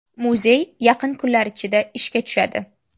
Muzey yaqin kunlar ichida ishga tushadi.